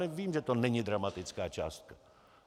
Vím, že to není dramatická částka.